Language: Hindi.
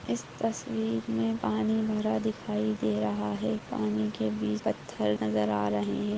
इस तस्वीर में पानी भरा दिखाई दे रहा है पानी के बीच पत्थर नजर आ रहे हैं।